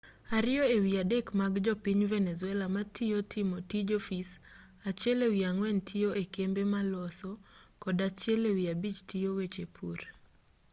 ariyo ewi adek mag jo piny venezuela matiyo timo tij ofis achiel ewi ang'wen tiyo ekembe maloso kod achiel ewi abich tiyo weche pur